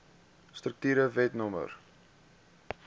strukture wet no